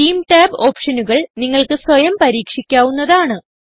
theme tab ഓപ്ഷനുകൾ നിങ്ങൾക്ക് സ്വയം പരീക്ഷിക്കാവുന്നതാണ്